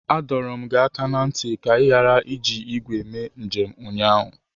Adọọrọ m gị aka na ntị ka ị ghara iji igwe mee njem ụnyaahụ!